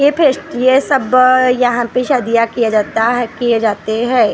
ये पेस्ट ये सब यहां पे सदिया किया जाता है किए जाते हैं।